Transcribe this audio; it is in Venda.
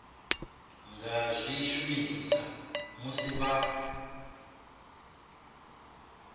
nga zwi shumisa musi vha